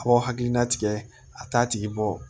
A b'aw hakilina tigɛ a t'a tigi bɔ